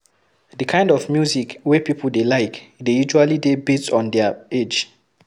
Di kind of music wey pipo dey like dey usually dey based on their age